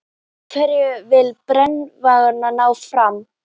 Hverju vill brennuvargurinn ná fram?